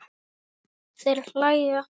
Þeir hlæja.